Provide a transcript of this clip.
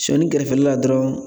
Sɔni kɛrɛfɛla la dɔrɔn